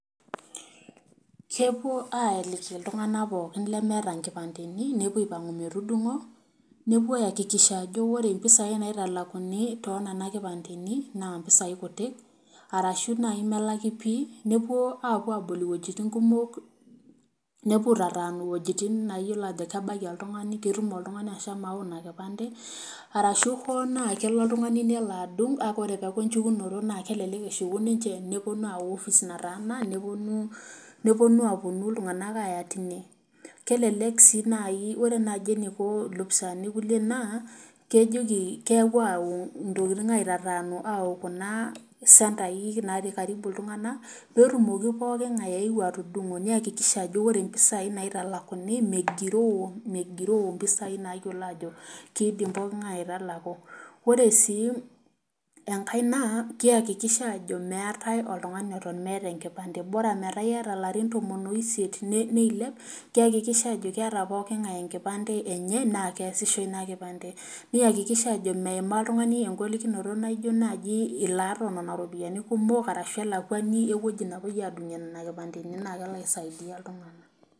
Kepuo aaliki iltung'ana pooki le meeta kipandeni nepuo aiko metudung'o nepuo ayakikisha ajo ore pisai naitalakuni too nena kipandeni naa pisai kuti. Arashu doi naaji melaki pii nepuo apuo aabol wuejitin kumok nepuo aitatanu wuejitin nayiolo ajo kebaiki oltung'ani pee itum oltung'ani ashomo ayau ina kipande. Arashu hoo naaji kelo oltung'ani nelo adung' neaku ore echukunoto naa kelelk amu keahuku ninche ayau opis nataana naa neponu lelo tung'ana aya teine. Kelelek si naaji.